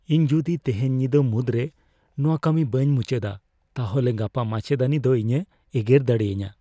ᱤᱧ ᱡᱩᱫᱤ ᱛᱮᱦᱮᱧ ᱧᱤᱫᱟᱹ ᱢᱩᱫᱨᱮ ᱱᱚᱣᱟ ᱠᱟᱹᱢᱤ ᱵᱟᱹᱧ ᱢᱩᱪᱟᱹᱫᱼᱟ, ᱛᱟᱦᱚᱞᱮ ᱜᱟᱯᱟ ᱢᱟᱪᱮᱫᱟᱹᱱᱤ ᱫᱚ ᱤᱧᱮ ᱮᱜᱮᱨ ᱫᱟᱲᱮᱭᱟᱹᱧᱟ ᱾